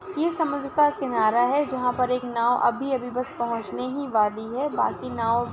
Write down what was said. ए समुद्र का किनारा है। जहा पर एक नाव अभी अभी बस पहुचने ही वाली है। बाकी नाव--